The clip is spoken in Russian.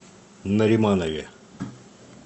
нариманове